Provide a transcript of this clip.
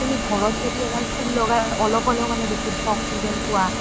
এতিয়া তুমি ঘৰত যদি ফুল লগাই অলপ হ'লেও অলপ হ'লেও বিশুদ্ধ oxygen পুৱা